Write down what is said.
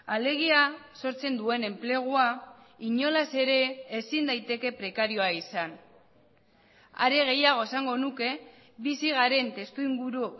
alegia sortzen duen enplegua inolaz ere ezin daiteke prekarioa izan are gehiago esango nuke bizi garen testuinguru